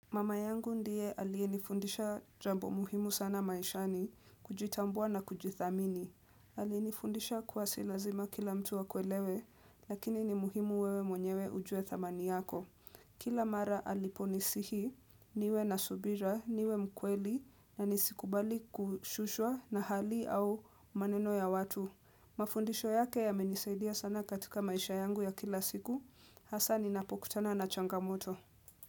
Mama yangu ndiye aliyenifundisha jambo muhimu sana maishani, kujitambua na kujithamini. Alienifundisha kuwa si lazima kila mtu akuelewe, lakini ni muhimu wewe mwenyewe ujue thamani yako. Kila mara aliponisihi, niwe nasubira, niwe mkweli, na nisikubali kushushwa na hali au maneno ya watu. Mafundisho yake ya menisaidia sana katika maisha yangu ya kila siku, hasa ni napokutana na changamoto.